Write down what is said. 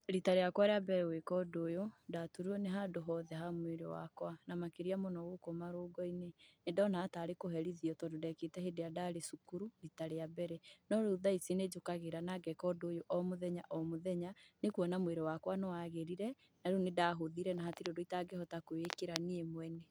Rita rĩakwa ria mbere gwĩka ũndũ ũyũ, ndaturirwo nĩ handũ hothe ha mwĩrĩ wakwa, na makĩria mũno gũkũ marũngoinĩ. Nĩ ndonaga tarĩ kũherithio tondũ ndekĩte hĩndĩrĩa ndarĩ cukuru rita rĩa mbere. No rĩu nĩ njũkagĩra na ngeka ũndũ ũyũ o mũthenya o mũthenya, nĩ kuona mwĩrĩ wakwa nĩwagĩrire na rĩu nĩndahũthire na hatirĩ ũndũ itangĩhota kwĩĩkĩra.